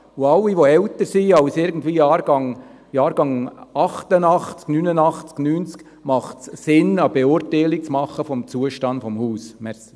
Bei allen, die älter sind als irgendwie Jahrgang 1988, 1989, 1990, macht es Sinn, eine Beurteilung zu machen über den Zustand des Hauses.